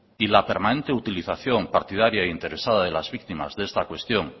y la permanente utilización partidaria e interesada de las víctimas de esta cuestión